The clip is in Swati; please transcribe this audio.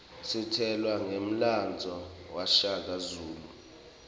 sitjelwa ngemlandvo washaka zulu